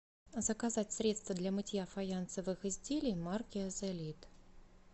заказать средство для мытья фаянсовых изделий марки азолит